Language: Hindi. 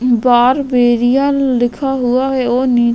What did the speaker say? बार्बेरिया लिखा हुआ है और नि --